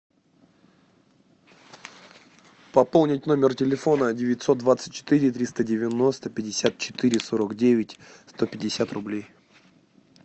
пополнить номер телефона девятьсот двадцать четыре триста девяносто пятьдесят четыре сорок девять сто пятьдесят рублей